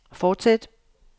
fortsæt